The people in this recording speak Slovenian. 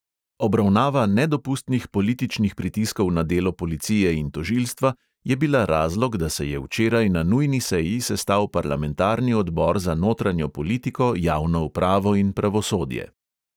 Obravnava "nedopustnih političnih pritiskov na delo policije in tožilstva" je bila razlog, da se je včeraj na nujni seji sestal parlamentarni odbor za notranjo politiko, javno upravo in pravosodje.